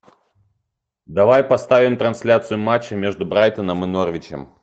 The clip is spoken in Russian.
давай поставим трансляцию матча между брайтоном и норвичем